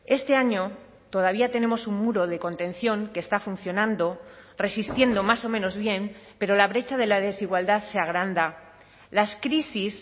este año todavía tenemos un muro de contención que está funcionando resistiendo más o menos bien pero la brecha de la desigualdad se agranda las crisis